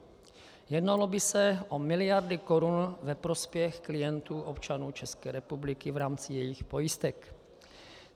Jednalo by se o miliardy korun ve prospěch klientů, občanů České republiky, v rámci jejich pojistek.